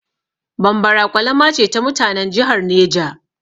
Bambara ƙwalama ce ta mutanan jihar Neja.